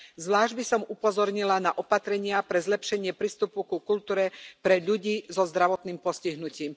Zvlášť by som upozornila na opatrenia pre zlepšenie prístupu ku kultúre pre ľudí so zdravotným postihnutím.